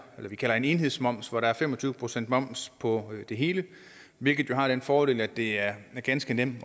vi kalder en enhedsmoms hvor der er fem og tyve procent moms på det hele hvilket har den fordel at det er ganske nemt at